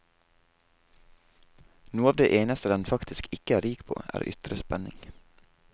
Noe av det eneste den faktisk ikke er rik på, er ytre spenning.